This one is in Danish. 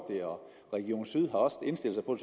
region syd er også indstillet på